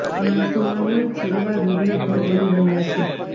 માણસોમાં હોય છે એવા રોગના ભોગ બની રહ્યા છે